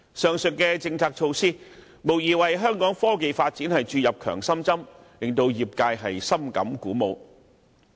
上述的國家政策措施，無疑為香港科研發展注入強心針，令業界深感鼓舞。